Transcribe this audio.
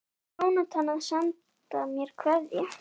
Jónatan að senda mér kveðju?